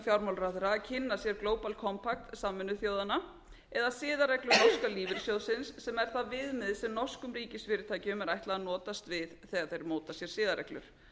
fjármálaráðherra að kynna sér global kontakt sameinuðu þjóðanna eða siðareglur norska lífeyrissjóðsins sem er það viðmið sem norskum ríkisfyrirtækjum er ætlað að notast við þegar þau móta sér siðareglur